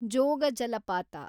ಜೋಗ ಜಲಪಾತ